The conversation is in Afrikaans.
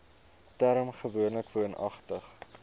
term gewoonlik woonagtig